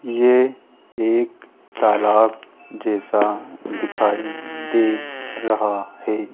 ये एक तलाब जैसा दिखाई दे रहा है।